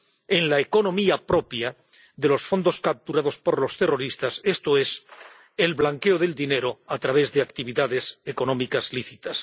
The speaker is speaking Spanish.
en la economía propia de los fondos capturados por los terroristas, esto es, el blanqueo del dinero a través de actividades económicas lícitas.